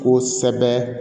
Kosɛbɛ